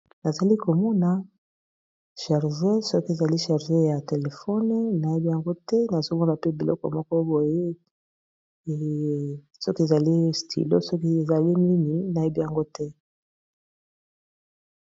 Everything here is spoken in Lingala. Nazali komona charge soki ezali charge ya telefone nayebi yango te nazomona pe biloko moko boye soki ezali stylo soki ezali nini nayebi yango te.